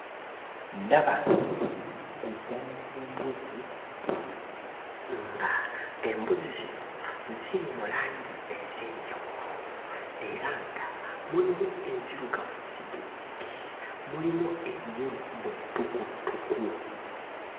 Ndaba eggana ly'embuzi nga embuzi zino ziri mu langi ez'enjawulo era nga mulimu enzirugavu zzigizzigi mulimu enjeru bwe ttukuttuku.